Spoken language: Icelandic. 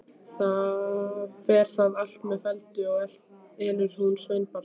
Fer það allt með felldu, og elur hún sveinbarn.